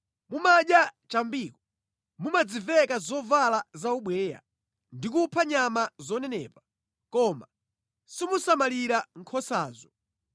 Mumadya chambiko, mumadziveka zovala zaubweya, ndi kupha nyama zonenepa, koma simusamalira nkhosazo.